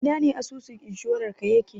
Ina asusun inshorarka yake?